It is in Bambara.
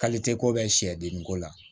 ko bɛ sɛdenko la